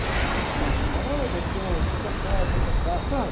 Eu via aqueles papos furados, olha o doutor, tá, tá, tá, tá, tá, tá, sabe?